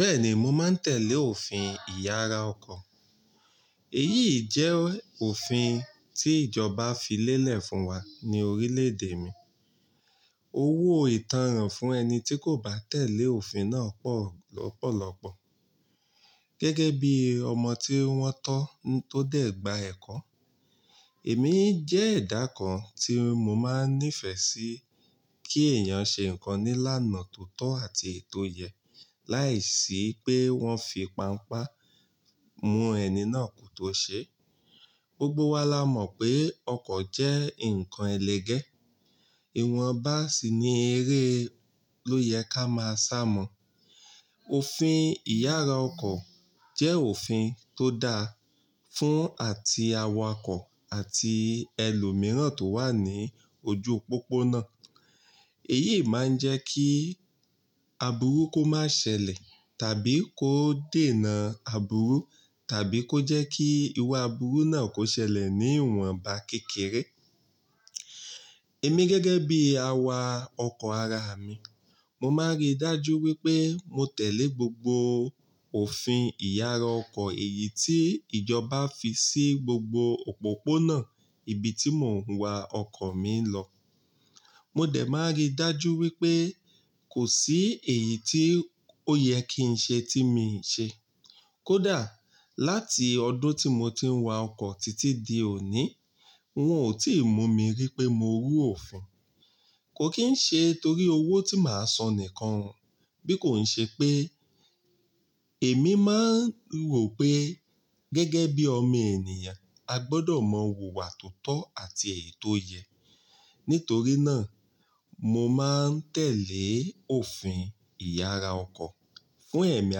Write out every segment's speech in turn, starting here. Bẹ́ẹ̀ni, mo máa ń tẹ̀lé òfin ìyára ọkọ̀. Èyí jẹ́ òfin tí ìjọba fi lélẹ̀ fún wa ni orílẹ̀ èdè mi. Owó ìtanràn fún ẹni tí kò bá tẹ̀lé òfin náà pọ̀ lọ́pọ̀lọpọ̀. Gẹ́gẹ́ bí ọmọ tí wọ́n tọ́ tó dé gba ẹ̀kọ́, èmi jẹ́ ẹdá kan tí mo máa ń nífẹ̀ẹ́ sí kí èèyàn ṣe nǹkan ní ìlànà tó tọ́ àti eti èyí tò yẹ láìsí pé wọ́n fi pánpá mú ẹni náà ko tó ṣe. Gbogbo wa la mọ̀ pé ọkọ̀ jẹ́ nǹkan ẹlẹgẹ́. Ìwọ̀nba sì ni èré ló yẹ ká máa sàmọ̀. Òfin ìyára ọkọ̀ jẹ́ òfin tó da fún àti awakọ̀ àti ẹlòmíràn tó wà ní ojú pópónà. Èyí máa ń jẹ́ kí aburú kò máa ṣẹlẹ̀ tàbí kó dènà aburú tàbí kó jẹ́ kí irú aburú náà kò ṣẹlẹ̀ ní ìwọ̀nba kékeré. Èmi gẹ́gẹ́ bí àwa ọkọ̀ ara mi, mo máa ń rí dájú wípé mo tẹ̀lé gbogbo òfin ìyára ọkọ̀ èyí tí ìjọba fi sí gbogbo òpópónà ibi tí mò ń wa ọkọ̀ mi lọ. Mo dẹ̀ máa ń rí dájú wípé kò sí èyí tí ó yẹ kí ń ṣe tí mii ṣe. Kódà láti ọdún tí mo ti ń wa ọkọ̀ títí di òní, wọn ò tí ì mú mi rí pé mo rú òfin. Kò kín ṣe torí owó tí màá san nìkan bí kò ń ṣe pé èmi máa ń rò pé gẹ́gẹ́ bí ọmọ ènìyàn, a gbọ́dọ̀ mọ wùwà tó tọ́ àti èyí tò yẹ. Nítorí náà, mo máa ń tẹ̀lé òfin ìyára ọkọ̀ fún ẹ̀mí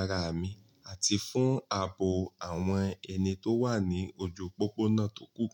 ara mi àti fún ààbò àwọn ẹni tó wà ní ojú pópónà tókù.